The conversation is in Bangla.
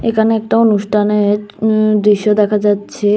এখানে একটা অনুষ্ঠানের উম দৃশ্য দেখা যাচ্ছে।